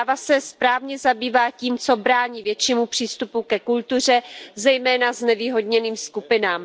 Zpráva se správně zabývá tím, co brání většímu přístupu ke kultuře, zejména znevýhodněným skupinám.